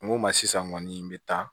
N go ma sisan kɔni n be taa